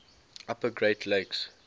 upper great lakes